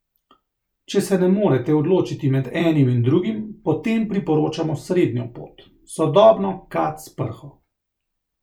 Če se ne morete odločiti med enim in drugim, potem priporočamo srednjo pot, sodobno kad s prho.